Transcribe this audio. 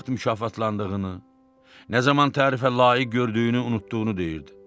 Nə vaxt mükafatlandığını, nə zaman tərifə layiq gördüyünü unutduğunu deyirdi.